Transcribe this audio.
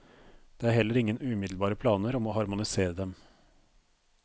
Det er heller ingen umiddelbare planer om å harmonisere dem.